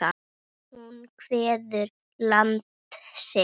Hún kveður land sitt.